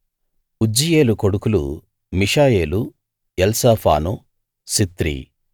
ఉజ్జీయేలు కొడుకులు Mishael Elzaphan Zithri